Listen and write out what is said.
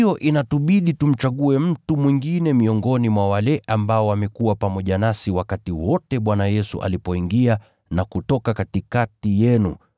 Kwa hiyo inatubidi tumchague mtu mwingine miongoni mwa wale ambao wamekuwa pamoja nasi wakati wote Bwana Yesu alipoingia na kutoka katikati yenu,